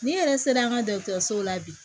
Ni yɛrɛ sera an ka dɔgɔtɔrɔsow la bi